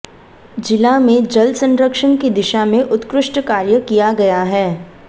जिला में जल संरक्षण की दिशा में उत्कृष्ट कार्य किया गया है